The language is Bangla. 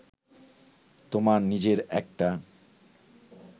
তোমার নিজের একটা